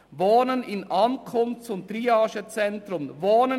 «Wohnen im Ankunfts- und Triagezentrum […